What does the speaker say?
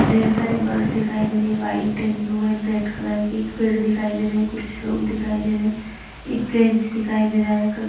ढेर सारी बस दिखाई दे रही हैं। White and blue and red colour की। एक पेड़ दिखाई दे रहे है। कुछ लोग दिखाई दे रहे हैं। एक ब्रेंच दिखाई दे रहा है। क --